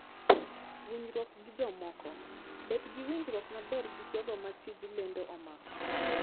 Winjruok gi Jomoko: Bed gi winjruok maber gi jogo ma tij lendo omako.